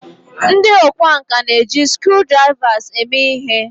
ndi okwá nkà na-eji screwdrivers eme ihe